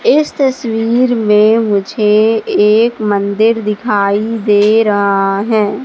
इस तस्वीर में मुझे एक मन्दिर दिखाई दे रहा है।